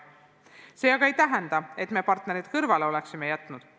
See aga ei tähenda, et me partnerid siiani kõrvale oleksime jätnud.